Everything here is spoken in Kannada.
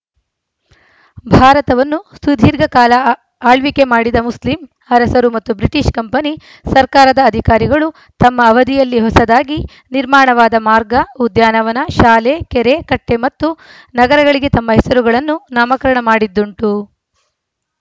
ಭಾರತವನ್ನು ಸುದೀರ್ಘ ಕಾಲ ಆಳ್ವಿಕೆ ಮಾಡಿದ ಮುಸ್ಲಿಂ ಅರಸರು ಮತ್ತು ಬ್ರಿಟಿಷ್‌ ಕಂಪನಿ ಸರ್ಕಾರದ ಅಧಿಕಾರಿಗಳು ತಮ್ಮ ಅವಧಿಯಲ್ಲಿ ಹೊಸದಾಗಿ ನಿರ್ಮಾಣವಾದ ಮಾರ್ಗ ಉದ್ಯಾನವನ ಶಾಲೆ ಕೆರೆ ಕಟ್ಟೆಮತ್ತು ನಗರಗಳಿಗೆ ತಮ್ಮ ಹೆಸರುಗಳನ್ನು ನಾಮಕರಣ ಮಾಡಿದ್ದುಂಟು